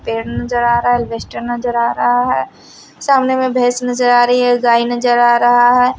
पेड़ नजर आ रहा है अल्बेस्टर नजर आ रहा है सामने में भैंस नजर आ रही है गाय नजर आ रहा है।